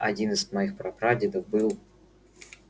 один из моих прапрадедов был